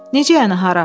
Necə yəni hara?